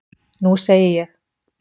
Nú segi ég.